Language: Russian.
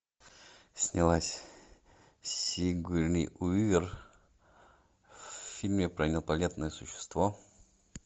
снялась сигурни уивер в фильме про инопланетное существо